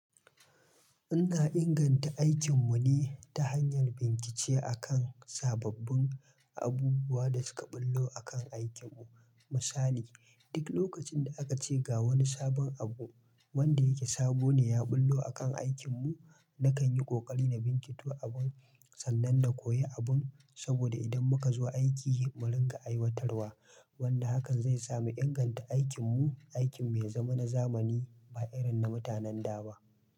Ina inganta aikin mu ne ta hanyar bincike akan sababbin abubuwan da suka ɓullo akan aikin mu. Misali duk lokacin da aka ce ga wani sabon abu wanda yake sabo ne ya ɓullo akan aikin mu nakan yi ƙoƙari na bincito abun sannan na koya abun, saboda idan muka zo aiki mu rinƙa aiwatarwa wanda hakan zai sa mu inganta aikin mu, aikin me zaman zamani ba irin na mutanen da ba.